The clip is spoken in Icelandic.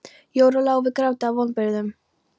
Jóru lá við gráti af vonbrigðum.